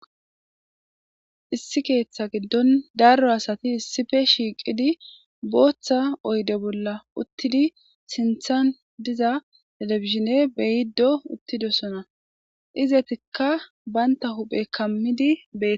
Issi keeththa giddon daro asati shhiqidi booththa oyde bolla utidi telibijine beyido utidosona izatika banitta huphe kamidi